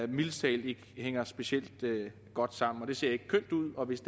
mildest talt ikke hænger specielt godt sammen det ser ikke kønt ud og hvis